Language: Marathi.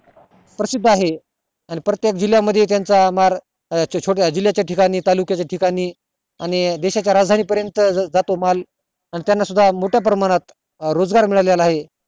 प्रसिद्द आहे आणि प्रत्येक जिल्हा मध्ये त्याचा जिल्हा च्या ठिकाणी तालुका च्या ठिकाणी आणि देशा च्या राजधानी पर्यंत जातो माल अन त्याना सुद्धा मोठ्या प्रमाणावर रोजगार मिळालेला आहे